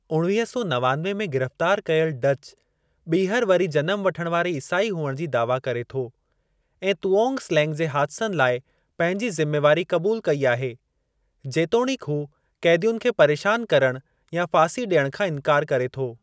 उणवीह सौ नवानवे में गिरफ़्तार कयल, डच ॿीहर वरी जनम वठणु वारे ईसाई हुअण जी दावा करे थो ऐं तुओंग स्लेंग जे हादिसनि लाइ पंहिंजी ज़िम्मेवारी क़बूल कई आहे, जेतोणीकि हू क़ैदियुनि खे परेशान करणु या फासी ॾियण खां इंकार करे थो।